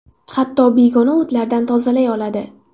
Hatto begona o‘tlardan tozalay oladi.